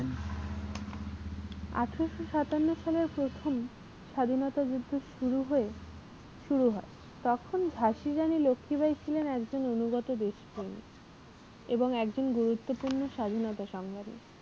আঠারোশো সাতান্ন সালের প্রথম স্বাধীনতা যুদ্ধ শুরু হয়ে শুরু হয় তখন ঝাঁসির রানী লক্ষীবাঈ ছিলেন একজন অনুগত দেশ প্রেমী এবং একজন গুরুত্তপূর্ণ স্বাধীনতা সংগ্রামী।